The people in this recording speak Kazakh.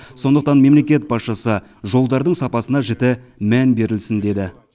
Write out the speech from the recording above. сондықтан мемлекет басшысы жолдардың сапасына жіті мән берілсін деді